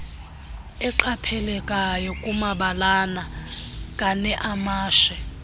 eqaphelekayo kumabalana kaneamashe